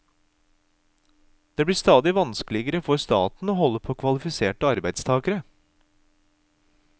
Det blir stadig vanskeligere for staten å holde på kvalifiserte arbeidstagere.